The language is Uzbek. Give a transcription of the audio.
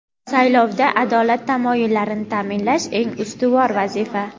Saylovda adolat tamoyillarini taʼminlash eng ustuvor vazifa.